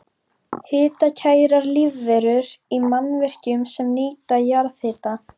Hitakærar lífverur í mannvirkjum sem nýta jarðhita